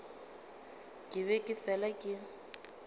ke be ke fela ke